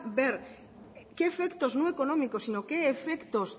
ver qué efectos no económicos sino qué efectos